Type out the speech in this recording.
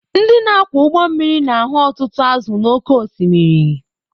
Ndị na-akwọ ụgbọ mmiri na-ahụ ọtụtụ azụ̀ n’oké osimiri